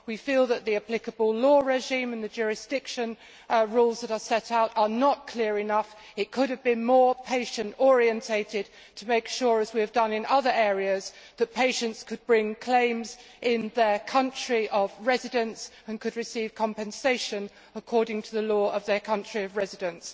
We feel that the applicable law regime and the jurisdiction rules that are set out are not clear enough it could have been more patient oriented to make sure, as we have done in other areas, that patients could bring claims in their country of residence and could receive compensation according to the law of their country of residence.